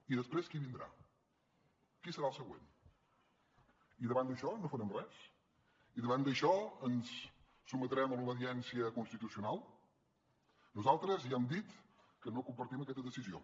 i després qui vindrà qui serà el següent i davant d’això no farem res i davant d’això ens sotmetrem a l’obediència constitucional nosaltres ja hem dit que no compartim aquesta decisió